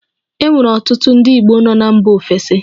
E nwere ọtụtụ ndị Igbo nọ na mba ofesi